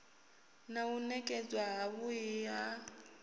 na u nekedzwa havhui ha